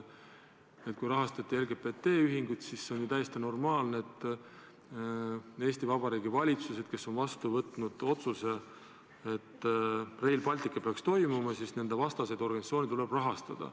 Et kui rahastati LGBT ühingut, siis on täiesti normaalne, et kuigi Eesti Vabariigi valitsused on vastu võtnud otsuse, et Rail Baltic tuleks ellu viia, võib ka selle vastaseid organisatsioone rahastada.